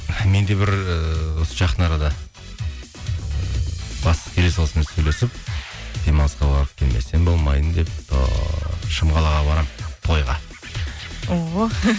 мен де бір ыыы осы жақын арада ы бастық келе саласымен сөйлесіп демалысқа барып келмесем болмайын деп тұр шымқалаға барамын тойға о